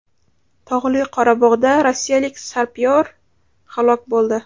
Tog‘li Qorabog‘da rossiyalik sapyor halok bo‘ldi.